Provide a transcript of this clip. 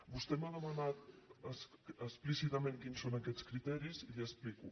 vostè m’ha demanat explícitament quins són aquests criteris i li ho explico